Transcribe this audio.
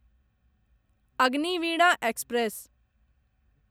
Agniveena express